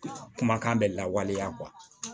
Kumakan bɛ lawaleya